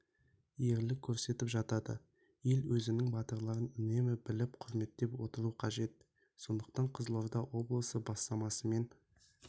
ерлік көрсетіп жатады ел өзінің батырларын үнемі біліп құрметтеп отыруы қажет сондықтан қызылорда облысы бастамасымен